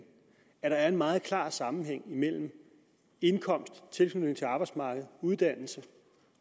at der er en meget klar sammenhæng mellem indkomst tilknytning til arbejdsmarkedet og uddannelse